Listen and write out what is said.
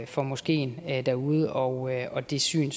for moskeen derude og og det syn